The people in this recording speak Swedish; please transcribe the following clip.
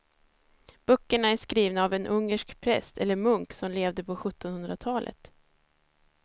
Böckerna är skrivna av en ungersk präst eller munk som levde på sjuttonhundratalet.